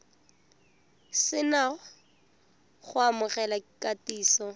se na go amogela kitsiso